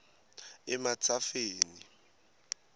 ematsafeni